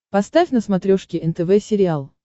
поставь на смотрешке нтв сериал